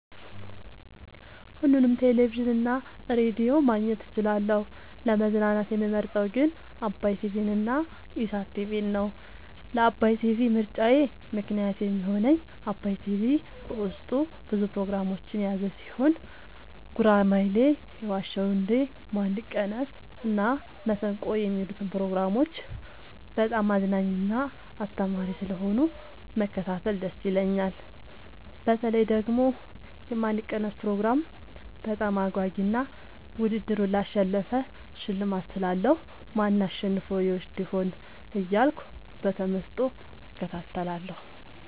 ሁሉንም ቴሌቪዥን እና ሬዲዮ ማግኘት እችላለሁ: : ለመዝናናት የምመርጠዉ ግን ዓባይ ቲቪንና ኢሣት ቲቪን ነዉ። ለዓባይ ቲቪ ምርጫየ ምክንያት የሚሆነኝ ዓባይ ቲቪ በዉስጡ ብዙ ፕሮግራሞችን የያዘ ቲሆን ጉራማይሌ የዋ ዉ እንዴ ማን ይቀነስ እና መሠንቆ የሚሉትን ፕሮግራሞች በጣም አዝናኝና አስተማሪ ስለሆኑ መከታተል ደስ ይለኛል። በተለይ ደግሞ የማን ይቀነስ ፕሮግራም በጣም አጓጊ እና ዉድድሩን ላሸነፈ ሽልማት ስላለዉ ማን አሸንፎ ይወስድ ይሆን እያልኩ በተመስጦ እከታተላለሁ።